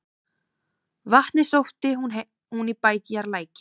Vatnið sótti hún í bæjarlækinn.